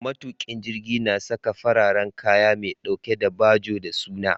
Matukin jirgi na Saka fararen kaya me ɗauke da bajo da suna